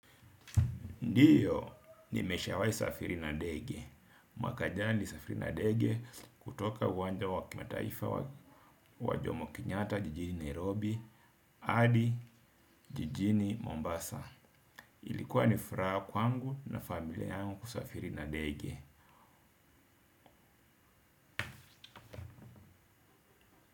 Ndio, nimeshawahi safiri na dege. Mwaka jana nilisafiri na ndege kutoka uwanja wakimataifa wa jomo Kenyatta jijini Nairobi hadi jijini Mombasa. Ilikuwa nifuraha kwangu na familia yangu kusafiri na ndege.